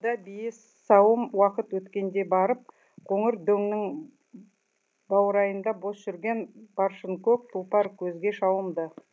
арада бие сауым уақыт өткенде барып қоңыр дөңнің баурайында бос жүрген баршынкөк тұлпар көзге шалынды